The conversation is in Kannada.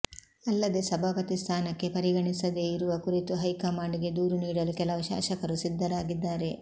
ಅಲ್ಲದೇ ಸಭಾಪತಿ ಸ್ಥಾನಕ್ಕೆ ಪರಿಗಣಿಸದೇ ಇರುವ ಕುರಿತು ಹೈಕಮಾಂಡ್ ಗೆ ದೂರು ನೀಡಲು ಕೆಲವು ಶಾಸಕರು ಸಿದ್ಧರಾಗಿದ್ದಾರೆ